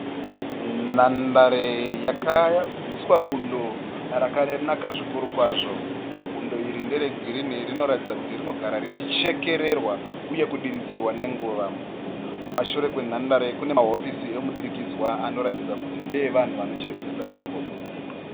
Nhandare yakaiswa bundo rakanaka zvikuru kwazvo. Bundo iri nderegirinhi rinoratidza kuti rinogara richichekererwa uye kudiridzirwa nenguva. Kumashure kwenhandare kune mahofisi emudurikidzanwa anoratidza kuti ndeevanhu vanochengetedza nhandare iyi.